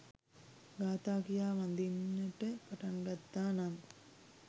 ගාථා කියා වඳින්නට පටන්ගත්තා නම්